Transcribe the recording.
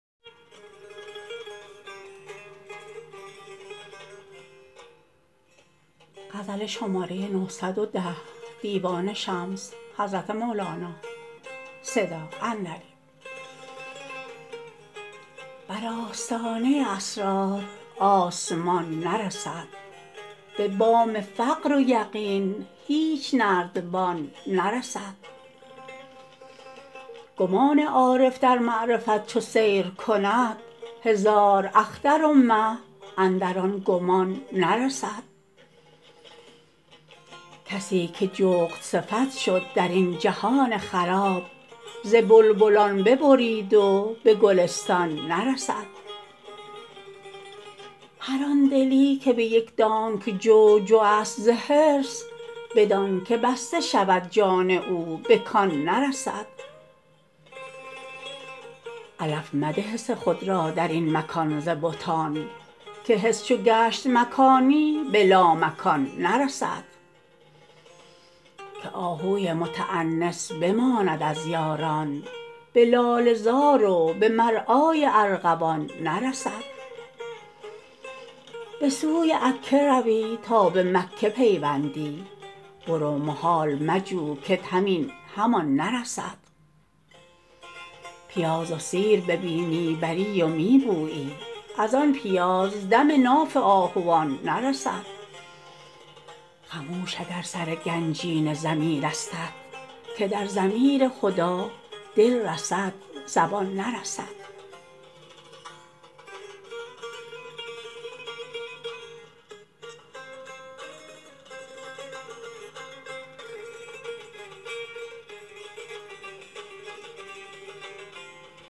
بر آستانه اسرار آسمان نرسد به بام فقر و یقین هیچ نردبان نرسد گمان عارف در معرفت چو سیر کند هزار اختر و مه اندر آن گمان نرسد کسی که جغدصفت شد در این جهان خراب ز بلبلان ببرید و به گلستان نرسد هر آن دلی که به یک دانگ جو جوست ز حرص به دانک بسته شود جان او به کان نرسد علف مده حس خود را در این مکان ز بتان که حس چو گشت مکانی به لامکان نرسد که آهوی متأنس بماند از یاران به لاله زار و به مرعای ارغوان نرسد به سوی عکه روی تا به مکه پیوندی برو محال مجو کت همین همان نرسد پیاز و سیر به بینی بری و می بویی از آن پیاز دم ناف آهوان نرسد خموش اگر سر گنجینه ضمیرستت که در ضمیر هدی دل رسد زبان نرسد